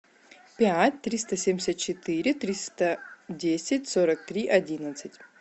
пять триста семьдесят четыре триста десять сорок три одиннадцать